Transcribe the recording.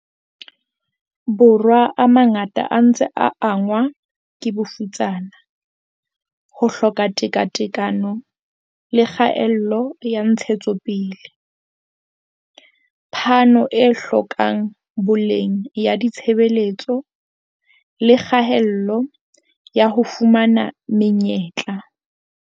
Borwa a mangata a ntse a angwa ke bofutsana, ho hloka tekatekano le kgaello ya ntshetsopele, phano e hlokang boleng ya ditshebeletso le kgaello ya ho fumana me nyetla.